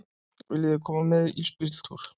Viljiði koma með í ísbíltúr?